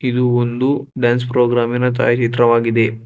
ಇದು ಒಂದು dance programme ಇನ ಛಾಯಾ ಚಿತ್ರವಾಗಿದೆ.